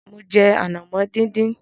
Mo jẹ ànàmọ́ díndín.